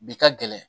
Bi ka gɛlɛn